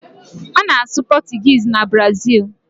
A na-asụ Pọtụgis na Brazịl.